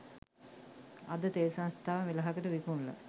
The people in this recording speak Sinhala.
අද තෙල් සංස්ථාව මෙලහකට විකුණලා